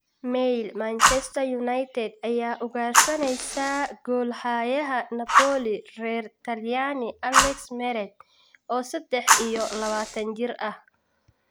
(Mail) Manchester United ayaa ugaarsanaysa goolhayaha Napoli, reer Talyaani Alex Meret, oo sedax iyo labataan jir ah.